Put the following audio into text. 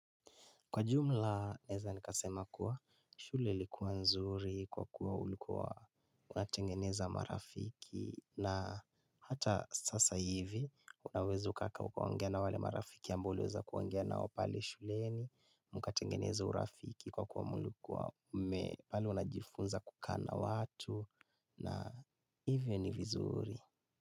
Kwa jumla naeza nikasema kuwa shule ilikuwa nzuri kwa kuwa ulikuwa unatengeneza marafiki na hata sasa hivi unaweza ukakaa ukaongea na wale marafiki ambao uliweza kuongea nao pale shuleni mkatengeneza urafiki kwa kuwa mlikuwa mme pale unajifunza kukaa na watu na hivi ni vizuri.